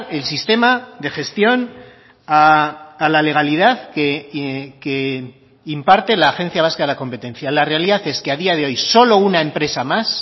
el sistema de gestión a la legalidad que imparte la agencia vasca de la competencia la realidad es que a día de hoy solo una empresa más